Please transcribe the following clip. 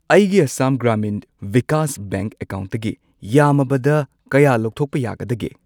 ꯑꯩꯒꯤ ꯑꯁꯥꯝ ꯒ꯭ꯔꯥꯃꯤꯟ ꯚꯤꯀꯥꯁ ꯕꯦꯡꯛ ꯑꯦꯀꯥꯎꯟꯠꯇꯒꯤ ꯌꯥꯝꯃꯕꯗ ꯀꯌꯥ ꯂꯧꯊꯣꯛꯄ ꯌꯥꯒꯗꯒꯦ?